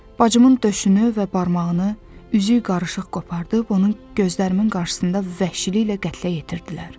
Bacımın döşünü və barmağını, üzük qarışıq qopardıb, onun gözlərimin qarşısında vəhşiliklə qətlə yetirdilər.